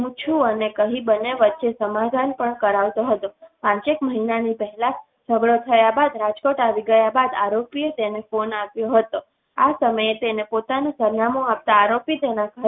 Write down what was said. હું છું અને કહી બંને વચ્ચે સમાધાન પણ કરાવતો હતો. પાંચેક મહિનાની પહેલા ઝગડો થયા બાદ રાજકોટ આવી ગયા બાદ આરોપી તેને ફોન આપ્યો હતો. આ સમયે તેને પોતાનું સરનામું આપતા આરોપી તેના ઘર